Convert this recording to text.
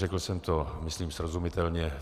Řekl jsem to myslím srozumitelně.